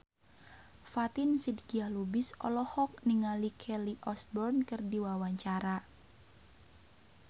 Fatin Shidqia Lubis olohok ningali Kelly Osbourne keur diwawancara